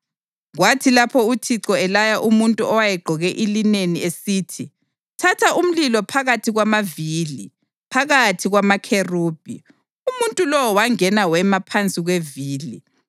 Kwathi lapho uThixo elaya umuntu owayegqoke ilineni esithi, “Thatha umlilo phakathi kwamavili, phakathi kwamakherubhi,” umuntu lowo wangena wema phansi kwevili.